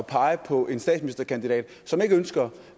pege på en statsministerkandidat som ikke ønsker